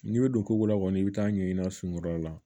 N'i bɛ don ko la kɔni i bɛ taa ɲɛɲini na sunkura la